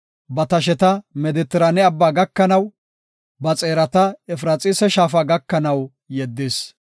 Ba tasheta Medetiraane Abbaa gakanaw, ba xeerata Efraxiisa shaafa gakanaw yeddis.